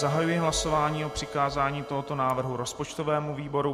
Zahajuji hlasování o přikázání tohoto návrhu rozpočtovému výboru.